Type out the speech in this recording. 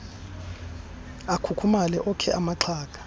akhukhumale okhe amaxhaga